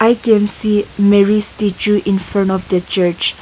i can see mary statue in front of the church.